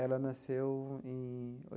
Ela nasceu em.